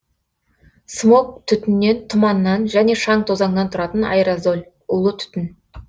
смог түтіннен тұманнан және шаң тозаңнан тұратын аэрозоль улы түтін